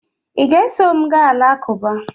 ị ga-eso m gaa alakụba?